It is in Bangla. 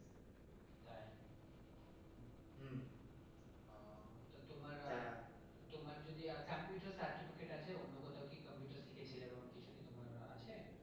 ও তো তোমার আহ তোমার যদি computer certificate আছে? অন্য কোথাও কি computer শিখেছিলে এরকম কিছু কি তোমার আছে?